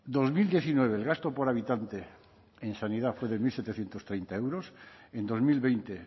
dos mil diecinueve el gasto por habitante en sanidad fue de mil setecientos treinta euros en dos mil veinte